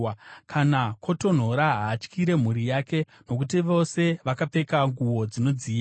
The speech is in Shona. Kana kwotonhora, haatyire mhuri yake; nokuti vose vakapfeka nguo dzinodziya.